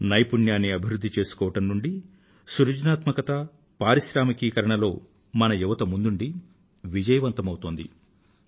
నైపుణ్యాన్ని అభివృధ్ధి చేసుకోవడం నుండీ సృజనాత్మకత పారిశ్రామికీకరణ లో మన యువత ముందుండి విజయవంతమౌతోంది